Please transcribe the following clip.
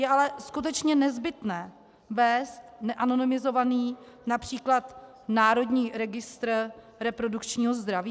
Je ale skutečně nezbytné vést neanonymizovaný například Národní registr reprodukčního zdraví?